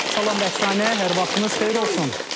Salam Rəqsanə, hər vaxtınız xeyir olsun.